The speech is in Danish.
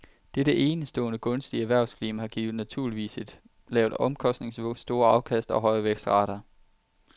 Dette enestående gunstige erhvervsklima giver naturligvis et lavt omkostningsniveau, store afkast og høje vækstrater.